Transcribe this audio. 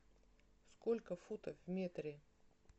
сколько футов в метре